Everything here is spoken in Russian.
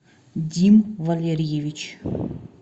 дим валерьевич